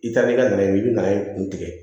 I taa ni ka na ye i bɛ na i kun tigɛ